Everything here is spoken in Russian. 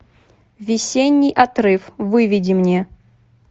весенний отрыв выведи мне